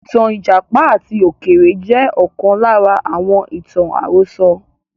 Ìtàn Ìjàpá àti Ọ̀kẹ́rẹ́ jẹ́ ọ̀kan lára àwọn ìtàn àròsọ